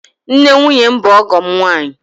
Nne nwunye m bụ ọgọ m nwaanyị.